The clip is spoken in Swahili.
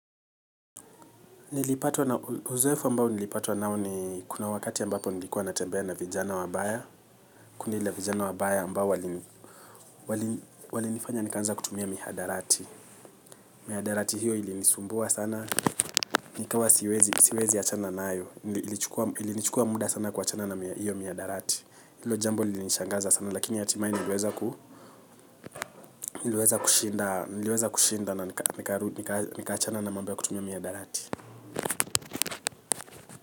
Uzoefu ambao nilipatwa nao ni kuna wakati ambapo nilikuwa natembea na vijana wabaya kundi la vijana wabaya ambao walinifanya nikaanza kutumia mihadarati. Mihadarati hiyo ilinisumbua sana nikawa siwezi achana nayo ilinichukua muda sana kuwachana na hiyo mihadarati ilo jambo lilinishangaza sana lakini hatimae niliweza kushinda na nikaachana na mambo ya kutumia mihadarati.